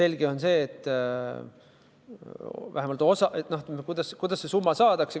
Kuidas see summa saadakse?